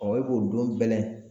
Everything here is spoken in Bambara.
e b'o don bɛlɛn